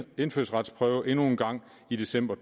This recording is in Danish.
indfødsretsprøve endnu en gang i december